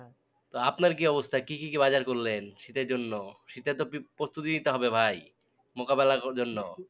তো আপনার কি অবস্থা কি কি বাজার করলেন? শীতের জন্য, শীতে তো প্রস্তুতি নিতে হবে ভাই মোকাবেলার জন্য